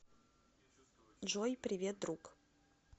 джой привет друг